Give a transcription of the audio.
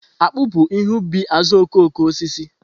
Akpu bu ihe ubi azuokokoosisi.